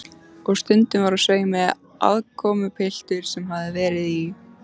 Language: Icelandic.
Og stundum var á sveimi aðkomupiltur sem hafði verið í